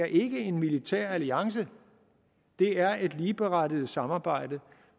ikke er en militær alliance det er et ligeberettiget samarbejde